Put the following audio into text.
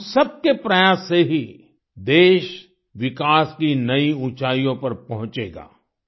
हम सबके प्रयास से ही देश विकास की नई ऊँचाइयों पर पहुँचेगा